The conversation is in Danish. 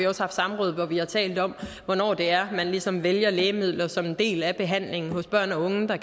også haft samråd hvor vi har talt om hvornår det er man ligesom vælger lægemidler som en del af behandlingen hos børn og unge der